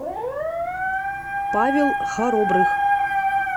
павел харобрых